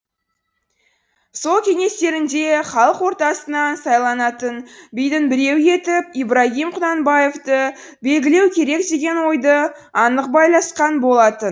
сол кеңестерінде халық ортасынан сайланатын бидің біреуі етіп ибрагим құнанбаевты белгілеу керек деген ойды анық байласқан болатын